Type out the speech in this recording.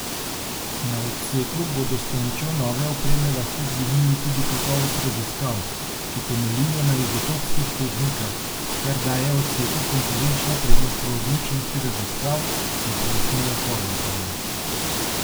Na odseku bodo s pomočjo nove opreme lahko dvignili tudi kakovost raziskav, ki temeljijo na izotopskih tehnikah, kar daje odseku konkurenčno prednost v odličnosti raziskav, je pojasnila Horvatova.